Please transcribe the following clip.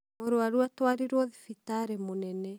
mũrwaru atwarirwo thibitarĩ mũnene.